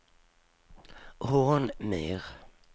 Hornmyr